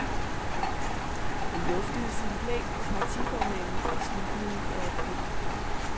Han luftede sin plan for partiformanden i slutningen af april.